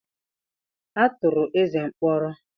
A tụrụ Eze mkpọrọ.